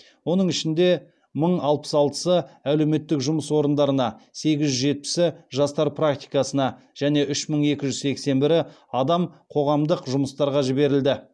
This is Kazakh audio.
оның ішінде мың алпыс алтысы әлеуметтік жұмыс орындарына сегіз жүз жетпісі жастар практикасына және үш мың екі жүз сексен бірі адам қоғамдық жұмыстарға жіберілді